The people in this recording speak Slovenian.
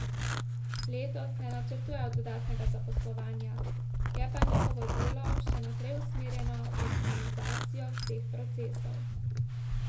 Letos ne načrtujejo dodatnega zaposlovanja, je pa njihovo delo še naprej usmerjeno v optimizacijo vseh procesov.